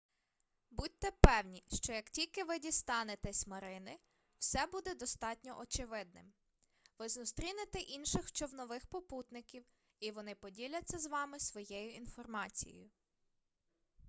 будьте певні що як тільки ви дістанетесь марини все буде достатньо очевидним ви зустрінете інших човнових попутників і вони поділяться з вами своєю інформацією